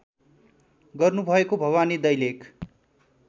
गर्नुभएको भवानी दैलेख